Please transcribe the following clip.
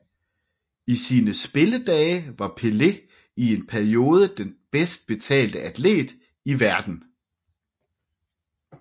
I sine spilledage var Pelé i en periode den bedst betalte atlet i verden